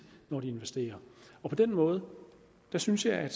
når de investerer på den måde synes jeg at